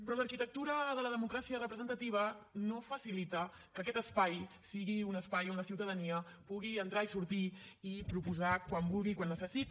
però l’arquitectura de la democràcia representativa no facilita que aquest espai sigui un espai on la ciutadania pugui entrar i sortir i proposar quan vulgui i quan ho necessiti